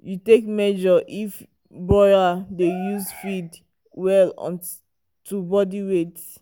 you take measure if broiler dey use feed well um to body weight.